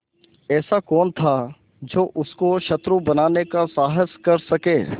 ऐसा कौन था जो उसको शत्रु बनाने का साहस कर सके